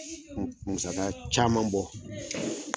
N musaka caman bɔ